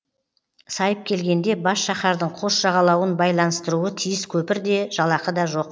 сайып келгенде бас шаһардың қос жағалауын байланыстыруы тиіс көпір де жалақы да жоқ